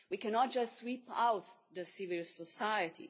We cannot just sweep out civil society.